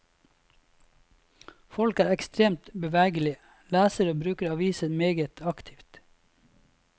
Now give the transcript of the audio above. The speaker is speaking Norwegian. Folk er ekstremt bevegelige, leser og bruker avisene meget aktivt.